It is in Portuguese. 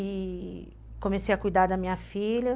E comecei a cuidar da minha filha.